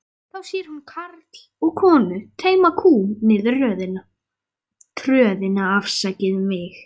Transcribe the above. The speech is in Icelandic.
Þá sér hún karl og konu teyma kú niður tröðina.